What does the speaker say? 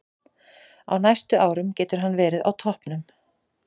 Á næstu árum getur hann verið á toppnum.